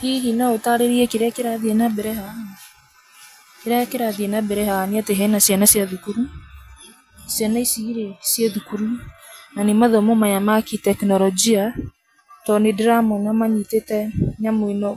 Hihi no ũtaarĩrie nĩkĩĩ kĩrathiĩ na mbere haha? Kĩrĩa kĩrathiĩ na mbere haha nĩ atĩ hena ciana cia thukuru, ciana ici rĩ, ciĩ thukuru na nĩ mathomo maya makĩ kitekinologia, tondũ nĩ ndĩramona manyitĩte nyamũ ĩno